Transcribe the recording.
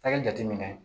A ka jateminɛ